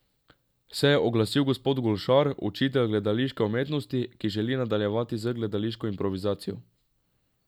Se je oglasil gospod Golšar, učitelj gledališke umetnosti, ki želi nadaljevati z gledališko improvizacijo?